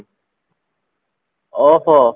ଓହୋ